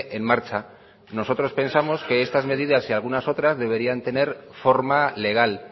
en marcha nosotros pensamos que estas medidas y algunas otras deberían tener forma legal